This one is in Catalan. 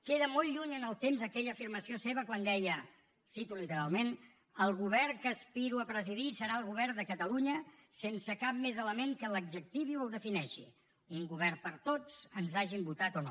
queda molt lluny en el temps aquella afirmació seva quan deia cito literalment el govern que aspiro a presidir serà el govern de catalunya sense cap més element que l’adjectivi o el defineixi un govern per a tots ens hagin votat o no